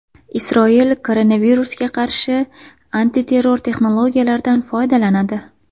Isroil koronavirusga qarshi antiterror texnologiyalardan foydalanadi.